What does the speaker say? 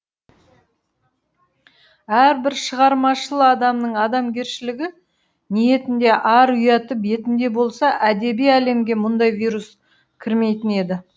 әрбір шығармашыл адамның адамгершілігі ниетінде ар ұяты бетінде болса әдеби әлемге мұндай вирус кірмейтін еді